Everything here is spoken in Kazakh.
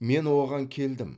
мен оған келдім